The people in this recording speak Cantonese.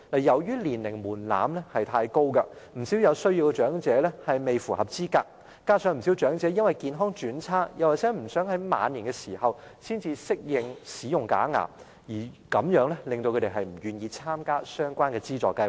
由於年齡門檻太高，不少有需要長者未符合資格，加上不少長者因為健康轉差，又或不想在晚年才適應使用假牙，令他們不願意參加相關的資助計劃。